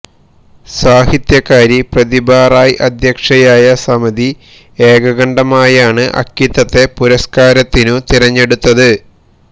സാഹിത്യകാരി പ്രതിഭാറായ് അധ്യക്ഷയായ സമിതി ഏകകണ്ഠമായാണ് അക്കിത്തത്തെ പുരസ്കാരത്തിനു തിരഞ്ഞെടുത്തത്